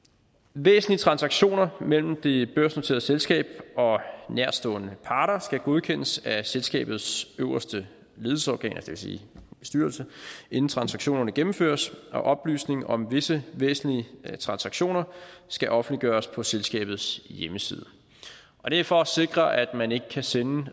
væsentlige transaktioner mellem det børsnoterede selskab og nærtstående parter skal godkendes af selskabets øverste ledelsesorgan det vil sige bestyrelsen inden transaktionerne gennemføres og oplysninger om visse væsentlige transaktioner skal offentliggøres på selskabets hjemmeside og det er for at sikre at man ikke kan sende